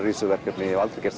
í þessu verkefni ég hef aldrei gert